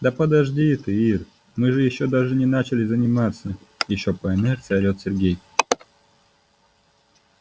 да подожди ты ир мы же ещё даже не начали заниматься ещё по инерции орет сергей